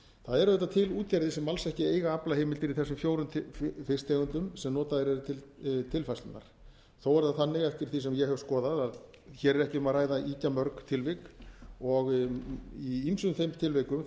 það eru auðvitað til útgerðir sem alls ekki eiga aflaheimildir í þessum fjórum fisktegundum sem notaðar eru fyrir tilfærslurnar þó er það þannig eftir því sem ég hef skoðað að hér er ekki um að ræða ýkja mörg tilvik og í ýmsum þeim tilvikum þar